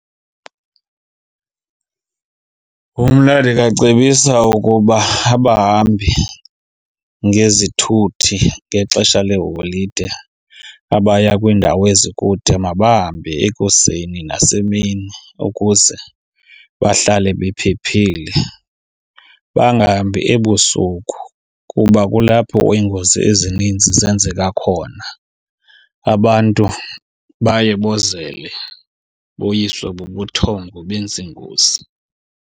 Mna ndingacebisa ukuba abahambi ngezithuthi ngexesha leeholide abaya kwiindawo ezikude mabahambe ekuseni nasemini ukuze bahlale bephephile. Bangahambi ebusuku kuba kulapho iingozi ezininzi zenzeka khona. Abantu baye bozele boyiswe bubuthongo benze ingozi.